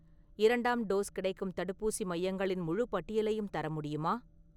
இரண்டாம் டோஸ் கிடைக்கும் தடுப்பூசி மையங்களின் முழுப் பட்டியலையும் தர முடியுமா?